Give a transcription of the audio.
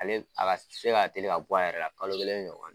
Ale a ka se ka teli ka bɔ a yɛrɛ la kalo kelen ɲɔgɔn don